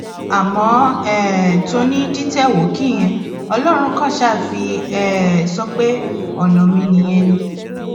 àmọ um toní dìtẹwookì yẹn ọlọrun kan ṣáà fi um sọ pé ọnà mi nìyẹn ni